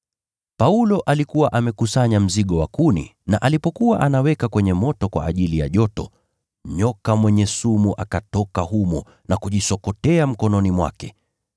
Paulo alikuwa amekusanya mzigo wa kuni na alipokuwa anaweka kwenye moto kwa ajili ya joto, nyoka mwenye sumu akatoka humo na kujisokotea mkononi mwake.